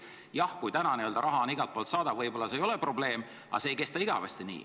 Jah, kui täna on n-ö raha igalt poolt saada, ei ole see võib-olla probleem, aga see ei kesta igavesti nii.